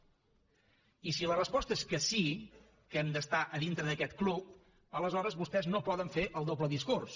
i si la resposta és que sí que hem d’estar a dintre d’aquest club aleshores vostès no poden fer el doble discurs